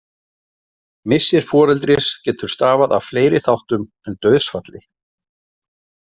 Missir foreldris getur stafað af fleiri þáttum en dauðsfalli.